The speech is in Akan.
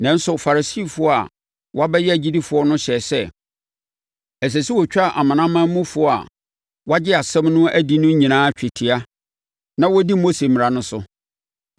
Nanso, Farisifoɔ a wɔabɛyɛ agyidifoɔ no hyɛɛ sɛ, ɛsɛ sɛ wɔtwa amanamanmufoɔ a wɔagye asɛm no adi no nyinaa twetia na wɔdi Mose mmara no so.